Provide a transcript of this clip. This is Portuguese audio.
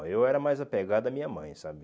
eu era mais apegado à minha mãe, sabe?